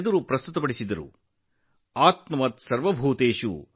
ನಮ್ಮ ಧರ್ಮಗ್ರಂಥಗಳಲ್ಲಿ ಆತ್ಮವತ್ ಸರ್ವಭೂತೇಷು ಎಂದು ಹೇಳಲಾಗಿದೆ